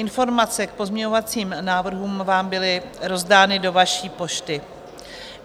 Informace k pozměňovacím návrhům vám byly rozdány do vaší pošty.